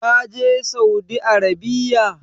Ka je Saudi Arabiya?